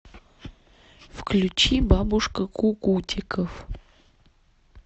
включи бабушка кукутиков